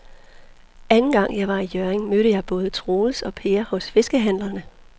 Anden gang jeg var i Hjørring, mødte jeg både Troels og Per hos fiskehandlerne.